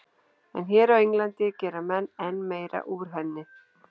En hér á Englandi gera menn enn meira úr henni.